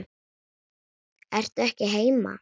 Ertu ekki heima?